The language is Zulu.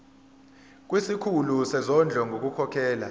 kusikhulu sezondlo ngokukhokhela